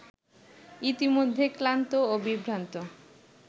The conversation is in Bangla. ইতিমধ্যে ক্লান্ত ও বিভ্রান্ত